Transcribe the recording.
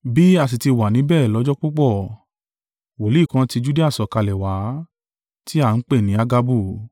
Bí a sì tí wà níbẹ̀ lọ́jọ́ púpọ̀, wòlíì kan tí Judea sọ̀kalẹ̀ wá, tí a ń pè ní Agabu.